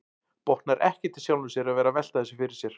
Botnar ekkert í sjálfum sér að vera að velta þessu fyrir sér.